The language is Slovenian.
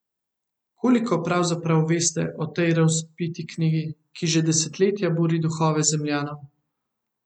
Koliko pravzaprav veste o tej razvpiti knjigi, ki že desetletja buri duhove Zemljanov?